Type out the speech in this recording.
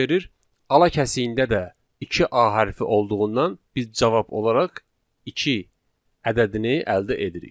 Ala kəsiyində də iki A hərfi olduğundan biz cavab olaraq iki ədədini əldə edirik.